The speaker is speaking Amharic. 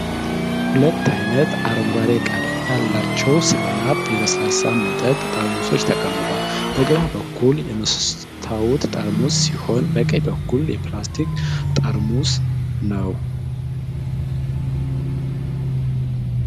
ሁለት አይነት የአረንጓዴ ቀለም ያላቸው 7UP የለስላሳ መጠጥ ጠርሙሶች ተቀምጠዋል። በግራ በኩል የመስታወት ጠርሙስ ሲሆን፣ በቀኝ በኩል ፕላስቲክ ጠርሙስ ነው።